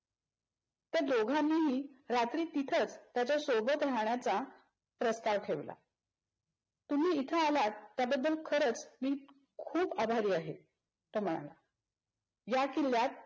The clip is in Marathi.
त्या दोघांनीही रात्री तिथंच त्याच्या सोबत राहण्याचा प्रस्ताव ठेवला. तुम्ही इथं आलात त्या बद्धल खरंच मी खूप आभारी आहे. तो म्हणाला. या किल्ल्यात